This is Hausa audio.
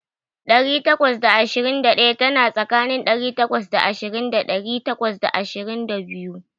Ɗari takwas da ashirin da ɗaya tana tsakanin ɗari takwas da ashirin da ɗari takwas da ashirin da biyu.